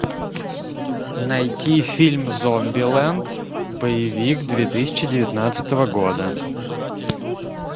найти фильм зомбилэнд боевик две тысячи девятнадцатого года